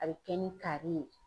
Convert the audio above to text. A bɛ kɛ ni kari ye.